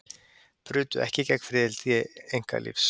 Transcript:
Brutu ekki gegn friðhelgi einkalífs